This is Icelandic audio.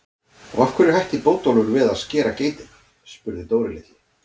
Og af hverju hætti Bótólfur við að skera geitina? spurði Dóri litli.